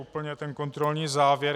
Úplně stačí kontrolní závěr.